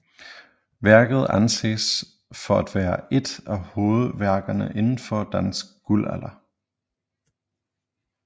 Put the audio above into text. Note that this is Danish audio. Værket anses for at være ét af hovedværkerne inden for dansk guldalder